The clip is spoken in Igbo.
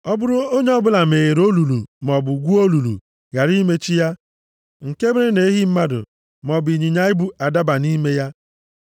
“Ọ bụrụ onye ọbụla meghere olulu maọbụ gwuo olulu, ghara imechi ya, nke mere na ehi mmadụ maọbụ ịnyịnya ibu adaba nʼime ya,